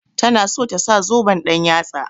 Ta na so ta sa zoben ɗan-yatsa.